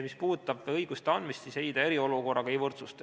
Mis puudutab õiguste andmist, siis ei, see seda eriolukorraga ei võrdsusta.